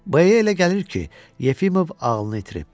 B-yə elə gəlir ki, Yefimov ağlını itirib.